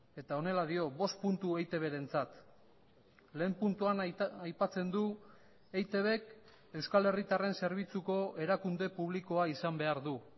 eta honela dio bost puntu eitbrentzat lehen puntuan aipatzen du eitbk euskal herritarren zerbitzuko erakunde publikoa izan behar du